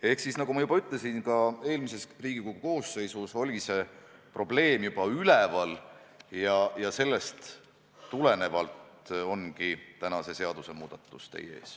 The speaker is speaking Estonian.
" Ehk siis, nagu ma ütlesin, juba eelmises Riigikogu koosseisus oli see probleem üleval ja seetõttu ongi see seadusmuudatus täna teie ees.